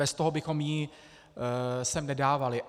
Bez toho bychom ji sem nedávali.